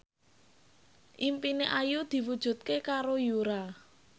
impine Ayu diwujudke karo Yura